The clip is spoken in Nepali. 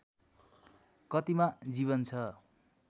कतिमा जीवन छ